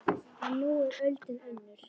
En nú er öldin önnur.